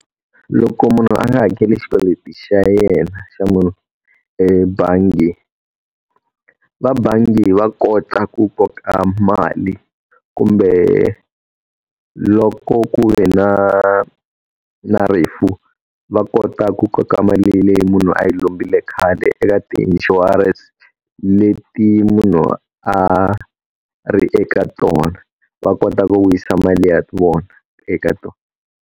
Loko munhu a nga hakeli xikweleti xa yena xa munhu ebangi, vabangi va kota ku koka mali, kumbe loko ku ve na na rifu va kota ku koka mali leyi munhu a yi lombile khale eka tiinshurense leti munhu a ri eka tona, va kota ku vuyisa mali ya vona eka tona.